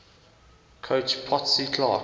coach potsy clark